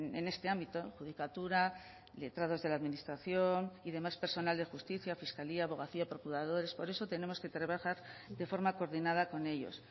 en este ámbito adjudicatura letrados de la administración y demás personal de justicia fiscalía abogacía procuradores por eso tenemos que trabajar de forma coordinada con ellos